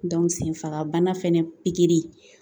senfagabana fɛnɛ pikiri